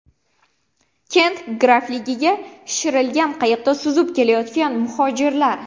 Kent grafligiga shishirilgan qayiqda suzib kelayotgan muhojirlar.